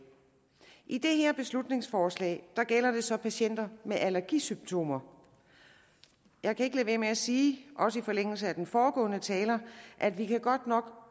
i det her beslutningsforslag gælder det så patienter med allergisymptomer jeg kan ikke lade være med at sige også i forlængelse af den foregående taler at vi godt nok